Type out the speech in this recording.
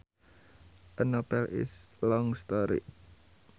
A novel is a long story